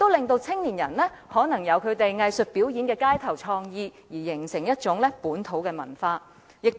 此外，青年人亦可以進行具創意的街頭藝術表演，繼而形成一種本土文化。